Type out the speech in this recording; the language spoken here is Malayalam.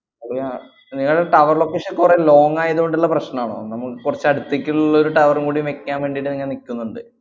അത് ഞാ~ നിങ്ങടെ tower location കൊറേ long ആയതുകൊണ്ടുള്ള പ്രശ്നാണോ, നമ്മള് കൊറച്ച് അടുത്തേക്കുള്ളൊരു tower ഉം കൂടി വെക്കാൻ വേണ്ടീട്ട് ങ്ങ നിക്കുന്നുണ്ട്